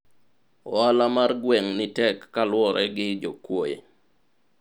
ohala mar gweng' ni tek kaluwore gi jokuoye